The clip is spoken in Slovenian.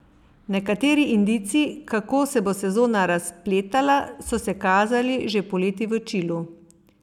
Nekateri indici, kako se bo sezona razpletala, so se kazali že poleti v Čilu.